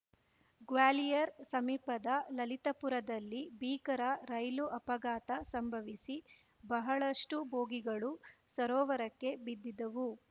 ಗ್ವಾಲಿಯರ್‌ ಸಮೀಪದ ಲಲಿತಪುರದಲ್ಲಿ ಭೀಕರ ರೈಲು ಅಪಘಾತ ಸಂಭವಿಸಿ ಬಹಳಷ್ಟುಬೋಗಿಗಳು ಸರೋವರಕ್ಕೆ ಬಿದ್ದಿದ್ದವು